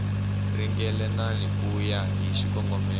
ringanelangi ku ya hi xikongomelo